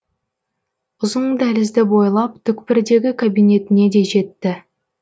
ұзын дәлізді бойлап түкпірдегі кабинетіне де жетті